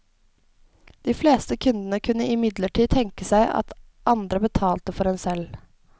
De fleste kundene kunne imidlertid tenke seg at andre betalte for en selv.